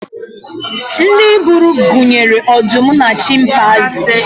ndị buru gunyere ọdụm na chimpaizi